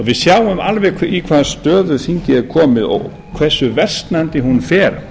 við sjáum alveg í hvaða stöðu þingið er komið og hversu versnandi hún fer